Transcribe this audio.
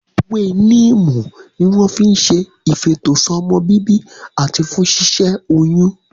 Ewé níìmù ni wọ́n fi n ṣe ìfètò sọ́mọbíbí àti fún ṣíṣẹ́ oyún